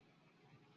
Alaba n mu ogun ẹjẹ